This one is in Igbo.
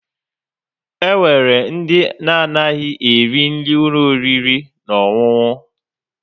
Enwere ndị na-anaghị eri nri n'ụlọ oriri na ọṅụṅụ.